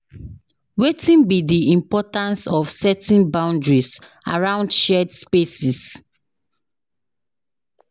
wetin be di importance of setting boundaries around shared spaces?